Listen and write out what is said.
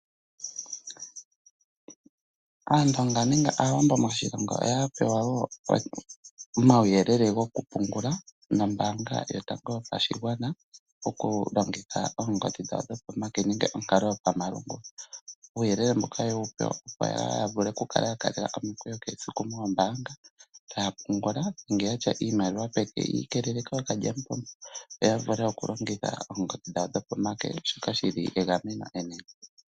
Aandonga nenge Aawambo moshilongo oya pewa wo omauyelele gokupungula nombaanga yotango yopashigwana taya longitha oongodhi dhawo dhopomake nenge onkalo yopamalungula. Uuyelele mbuka oye wu pewa, opo yaa kale ya kaalela omikweyo shaa siku moombaanga taya pungula nenge ya tya iimaliwa peke yi ikelele kookalyamupombo, yo ya vule okulongitha oongodhi dhawo dhopomake shoka shi li egameno enene.